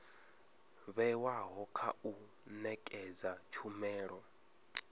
vhewaho kha u nekedza tshumelo